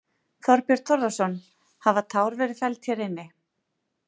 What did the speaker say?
Þorbjörn Þórðarson: Hafa tár verið felld hér inni?